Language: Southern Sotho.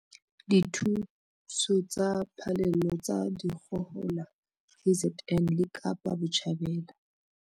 Dithuso tsa phallelo tsa dikgohola KZN le Kapa Botjhabela.